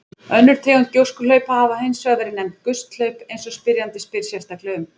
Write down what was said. Önnur tegund gjóskuhlaupa hafa hins vegar verið nefnd gusthlaup eins og spyrjandi spyr sérstaklega um.